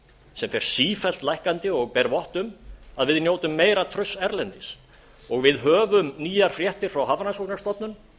sem fer sífellt lækkandi og ber vott um að við njótum meira trausts erlendis og við höfum nýjar fréttir frá hafrannsóknastofnun